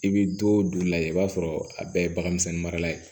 I bɛ don du lajɛ i b'a sɔrɔ a bɛɛ ye bagan misɛnnin marala ye